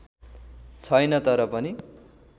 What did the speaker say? छैन तर पनि